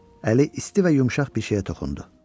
Əli isti və yumşaq bir şeyə toxundu.